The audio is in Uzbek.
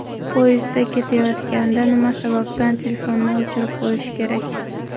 Poyezdda ketayotganda nima sababdan telefonni o‘chirib qo‘yish kerak?.